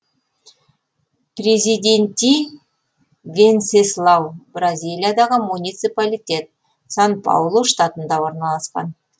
президенти венсеслау бразилиядағы муниципалитет сан паулу штатында орналасқан